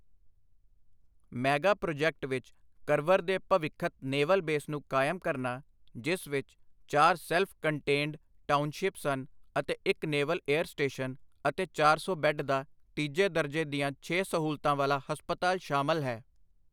Mega project ਵਿੱਚ ਕਰਵਰ ਦੇ ਭਵਿੱਖਤ ਨੇਵਲ ਬੇਸ ਨੂੰ ਕਾਇਮ ਕਰਨਾ, ਜਿਸ ਵਿੱਚ ਚਾਰ ਸੈਲਫ ਕੰਟੇਨਡ ਟਾਊਨਸਿ਼ਪ ਸਨ ਅਤੇ ਇੱਕ ਨੇਵਲ ਏਅਰ ਸਟੇਸ਼ਨ ਅਤੇ ਚਾਰ ਸੌ ਬੈੱਡ ਦਾ ਤੀਜੇ ਦਰਜੇ ਦੀਆਂ ਛੇ ਸਹੂਲਤਾਂ ਵਾਲਾ ਹਸਪਤਾਲ ਸ਼ਾਮਲ ਹੈ।